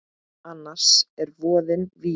Annars er voðinn vís.